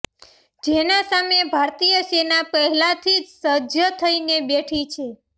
જેના સામે ભારતીય સેના પહેલાથી જ સજ્જ થઈ ને બેઠી છે